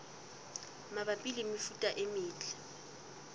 mabapi le mefuta e metle